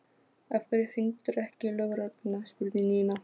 Af hverju hringdirðu ekki í lögregluna? spurði Nína.